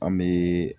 An bɛ